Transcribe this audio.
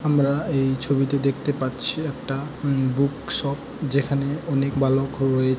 আমরা এই ছবিটি দেখতে পাচ্ছি একটা উ- বুক শপ যেখানে অনেক বালক রয়ে--